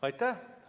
Aitäh!